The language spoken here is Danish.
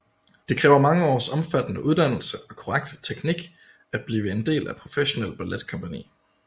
Det kræver mange års omfattende uddannelse og korrekt teknik at blive en del af et professionel balletkompagni